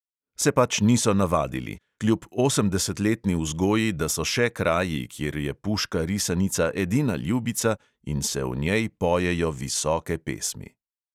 Se pač niso navadili – kljub osemdesetletni vzgoji, da so še kraji, kjer je puška risanica edina ljubica in se o njej pojejo visoke pesmi.